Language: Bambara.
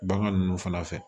Bagan ninnu fana fɛ